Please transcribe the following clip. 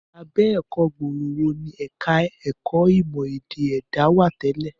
Abẹ́ ẹ̀kọ́ gbòòrò wo ni ẹ̀ka ẹ̀kọ́ ìmọ̀ ẹ̀dá èdè wà tẹ́lẹ̀?